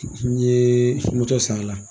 N ye su moto sara la.